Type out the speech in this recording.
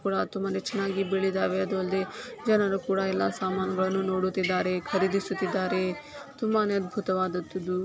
ಕೂಡಾ ತುಂಬಾನೇ ಚೆನ್ನಾಗಿ ಬೆಳಿದಾವೆ. ಅದು ಅಲ್ಲದೆ ಜನರೂ ಕೂಡ ಎಲ್ಲಾ ಸಾಮಾನುಗಳನ್ನು ನೋಡುತ್ತಿದ್ದಾರೆ ಖರೀದಿಸುತ್ತಿದ್ದಾರೆ. ತುಂಬಾನೇ ಅಧ್ಬುತವಾದದುದು.